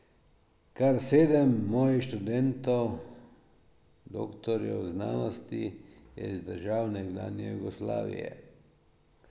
Kar sedem mojih študentov, doktorjev znanosti, je iz držav nekdanje Jugoslavije.